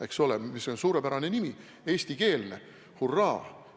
Eks ole, mis suurepärane nimi – eestikeelne, hurraa!